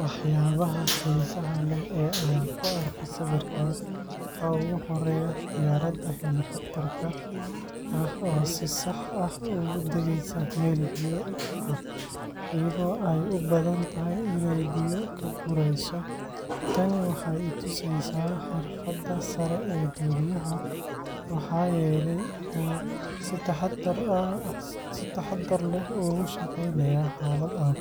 Waxyaabaha xiisaha leh ee aan ka arko sawirkan waxaa ugu horreeya diyaaradda helicopter-ka ah oo si sax ah ugu degaysa meel biyo ah, iyadoo ay u badan tahay inay biyo ka gurayso. Tani waxay i tusaysaa xirfadda sare ee duuliyaha, maxaa yeelay wuxuu si taxaddar leh ugu shaqeynayaa xaalad adag.